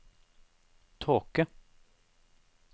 tåke